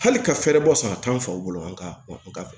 Hali ka fɛrɛ bɔ saraka an faw bolo an ka fɛ